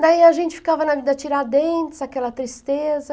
Daí a gente ficava la ná Tiradentes, aquela tristeza.